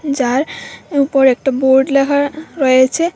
যার উপর একটা বোর্ড লেখা রয়েছে।